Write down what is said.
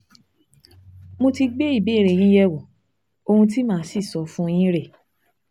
Mo ti gbé ìbéèrè yín yẹ̀wò, ohun tí màá sì sọ fún yín rèé